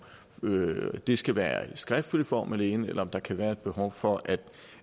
det skal være i skriftlig form alene eller om der kan være et behov for at